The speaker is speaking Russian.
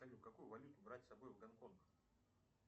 салют какую валюту брать с собой в гонконг